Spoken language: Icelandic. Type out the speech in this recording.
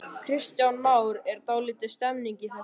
Kristján Már: Er dálítil stemning í þessu?